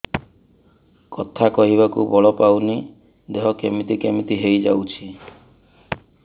କଥା କହିବାକୁ ବଳ ପାଉନି ଦେହ କେମିତି କେମିତି ହେଇଯାଉଛି